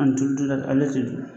ale tɛ ye tugun.